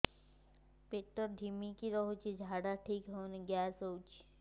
ପେଟ ଢିମିକି ରହୁଛି ଝାଡା ଠିକ୍ ହଉନି ଗ୍ୟାସ ହଉଚି